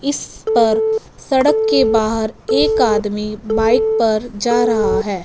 इस पर सड़क के बाहर एक आदमी बाइक पर जा रहा हैं।